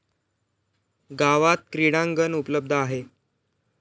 गावात क्रीडांगण उपलब्ध आहे.